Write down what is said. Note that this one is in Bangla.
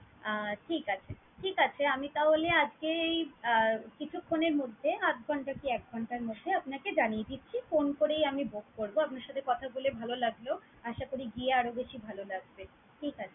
আহ ঠিক আছে, ঠিক আছে আমি তাহলে আজকেই আহ কিছুক্ষণের মধ্যে আধ ঘণ্টা কি এক ঘণ্টার মধ্যে আপনাকে জানিয়ে দিচ্ছি। Phone করেই আমি বলবো। আপনার সাথে কথা বলে ভালো লাগলো। আশা করি গিয়ে আরও বেশি ভালো লাগবে। ঠিক আছে।